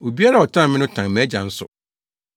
Obiara a ɔtan me no tan mʼAgya nso.